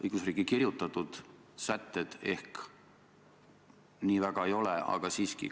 Õigusriigi kirjutatud sätted ehk nii väga ei ole, aga siiski.